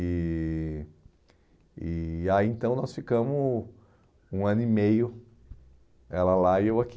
E e aí então nós ficamos um ano e meio, ela lá e eu aqui.